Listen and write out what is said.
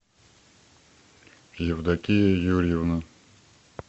евдокия юрьевна